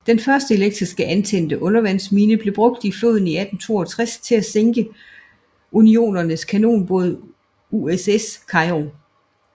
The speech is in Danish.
Den første elektrisk antændte undervandsmine blev brugt i floden i 1862 til at sænke Unionens kanonbåd USS Cairo